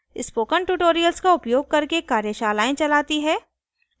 spoken tutorials का उपयोग करके कार्यशालाएं चलती है